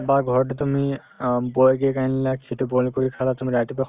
বা ঘৰতে তুমি অ boil আনিলা সেইটো boil কৰি খালা তুমি ৰাতিপুৱা